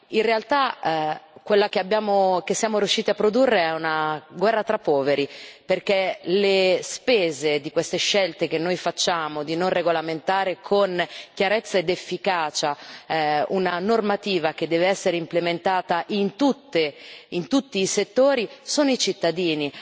In realtà, quella che siamo riusciti a produrre è una guerra tra poveri, perché a fare le spese di queste scelte che noi facciamo di non regolamentare con chiarezza ed efficacia una normativa che deve essere implementata in tutti i settori sono i cittadini.